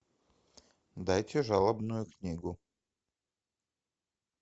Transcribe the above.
дайте жалобную книгу